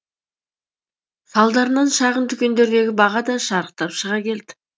салдарынан шағын дүкендердегі баға да шарықтап шыға келді